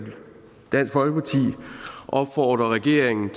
dansk folkeparti opfordrer regeringen